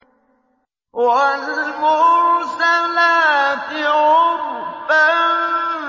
وَالْمُرْسَلَاتِ عُرْفًا